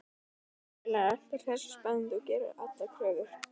Vinnufélaginn er alltaf hress og spennandi og gerir engar kröfur.